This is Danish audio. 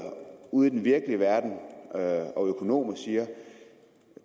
ude i den virkelige verden og økonomer